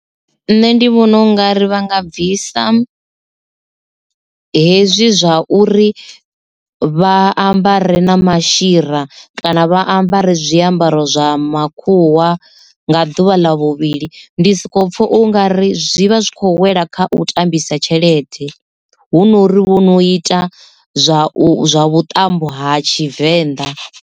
Nṋe ndi vhona u nga ri vha nga bvisa hezwi zwa uri vha ambare na mashira kana vha ambare zwiambaro zwa makhuwa nga ḓuvha ḽa vhuvhili, ndi soko pfha ungari zwi vha zwi khou wela kha u tambisa tshelede hu nori vho no ita zwa u zwa vhuṱambo ha tshivenḓa.